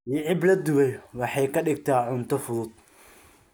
Yicib la dubay waxay ka dhigtaa cunto fudud.